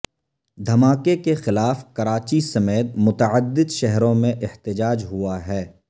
دھماکے کے خلاف کراچی سمیت متعدد شہروں میں احتجاج ہوا ہے